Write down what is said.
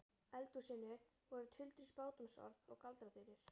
eldhúsinu voru tuldruð spádómsorð og galdraþulur.